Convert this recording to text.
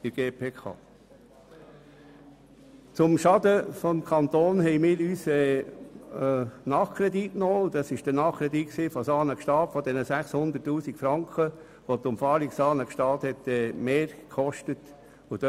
Bezüglich des Schadens des Kantons haben wir uns mit einem Nachkredit beschäftigt, mit demjenigen von Saanen-Gstaad in der Höhe von 600 000 Franken aufgrund der zusätzlichen Kosten für die Umfahrung Saanen-Gstaad.